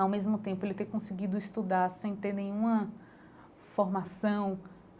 Ao mesmo tempo, ele ter conseguido estudar sem ter nenhuma formação.